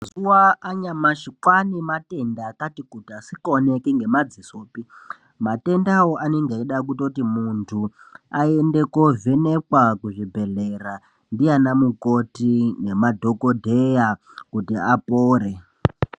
Mazuva anyamashi kwane matenda akati kuti asikaoneki nema dzisopi matenda awo anenge eida kutoti muntu ayende ko vhenekwa ku zvibhedhlera ndiana mukoti ne madhokodheya kuti apore.